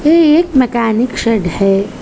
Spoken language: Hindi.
यह एक मैंकेनिक शेड है।